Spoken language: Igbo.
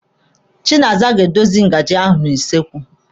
Chinaza ga-adọsa ngaji ahụ na kichin.